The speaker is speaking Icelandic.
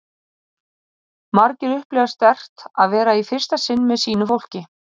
Margir upplifa sterkt að vera í fyrsta sinn með sínu fólki